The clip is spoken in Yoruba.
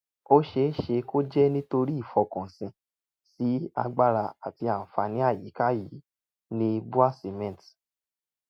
ó ṣeé ṣe kó jẹ́ nítorí ìfọkànsìn sí agbára àti àǹfààní àyíká yìí ni bua cement